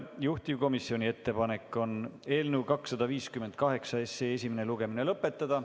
Juhtivkomisjoni ettepanek on eelnõu 258 esimene lugemine lõpetada.